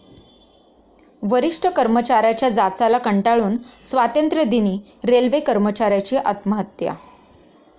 वरिष्ठ कर्मचाऱ्याच्या जाचाला कंटाळून स्वातंत्र्य दिनी रेल्वे कर्मचाऱ्याची आत्महत्या